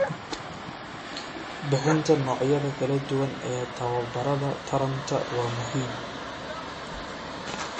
Bixinta noocyada kala duwan ee tababarada taranta waa muhiim.